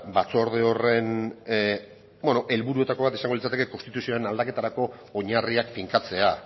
batzorde horren helburuetako bat izango litzateke konstituzioaren aldaketarako oinarriak finkatzea